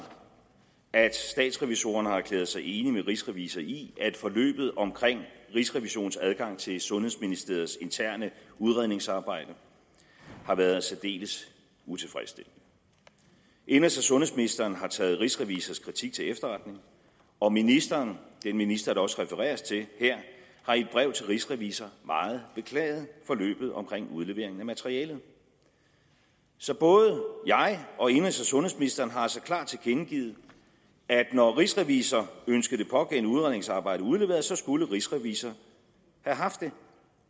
at statsrevisorerne har erklæret sig enig med rigsrevisor i at forløbet omkring rigsrevisionens adgang til sundhedsministeriets interne udredningsarbejde har været særdeles utilfredsstillende indenrigs og sundhedsministeren har taget rigsrevisors kritik til efterretning og ministeren den minister der også refereres til her har i et brev til rigsrevisor meget beklaget forløbet omkring udlevering af materialet så både jeg og indenrigs og sundhedsministeren har altså klart tilkendegivet at når rigsrevisor ønskede det pågældende udredningsarbejde udleveret skulle rigsrevisor have haft det